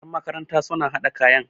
yan makaranta suna hada kayan